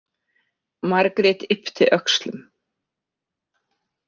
Margrét yppti öxlum.